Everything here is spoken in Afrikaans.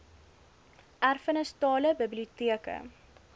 erfenis tale biblioteke